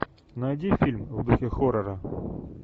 найди фильм в духе хоррора